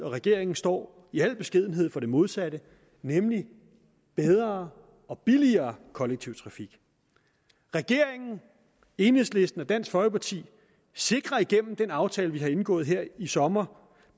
og regeringen står i al beskedenhed for det modsatte nemlig bedre og billigere kollektiv trafik regeringen enhedslisten og dansk folkeparti sikrer igennem den aftale vi har indgået her i sommer